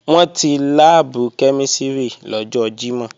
Wọ́n ti láàbù kẹ́mísìrì lọ́jọ́ Jímọ̀